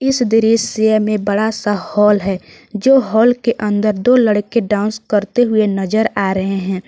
इस दृश्य में बड़ा सा हॉल है जो हॉल के अंदर दो लड़के डांस करते हुए नजर आ रहे हैं।